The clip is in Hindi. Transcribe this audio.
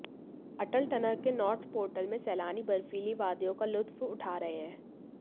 अटल टनल के नॉर्थ पोर्टल में सैलानी बर्फीली वादियों का लुत्फ उठा रहे हैं